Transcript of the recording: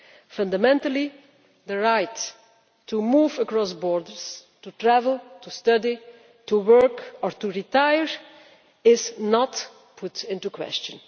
Fundamentally, the right to move across borders, to travel, to study, to work or to retire is not put into question.